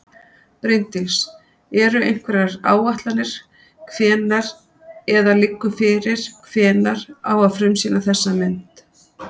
Bryndís: Eru einhverjar áætlanir hvenær eða liggur fyrir hvenær á að frumsýna þessa mynd?